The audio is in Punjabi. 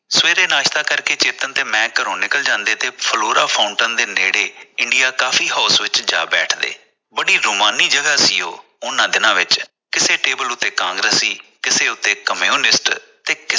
ਸਵੇਰੇ ਨਾਸ਼ਤਾ ਕਰਕੇ ਮੈਂ ਤੇ ਚੇਤਨ ਘਰੋਂ ਨਿਕਲ ਜਾਂਦੇ ਤੇ flora fountain ਦੇ ਨੇੜੇ india coffee house ਵਿਚ ਜਾ ਬੈਠਦੇ ਬੜੀ ਰੁਮਾਨੀ ਜਗ੍ਹਾ ਸੀ ਉਹ ਉਨ੍ਹਾਂ ਦਿਨਾਂ ਵਿਚ ਕਿਸੇ table ਤੇ ਕਾਂਗਰਸੀ ਕਿਸੇ ਉਤੇ communist